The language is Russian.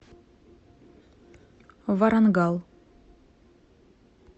варангал